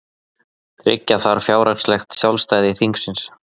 Tryggja þarf fjárhagslegt sjálfstæði þingsins